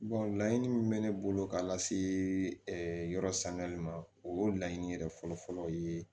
laɲini min bɛ ne bolo ka lase yɔrɔ sangali ma o y'o laɲini yɛrɛ fɔlɔ fɔlɔ ye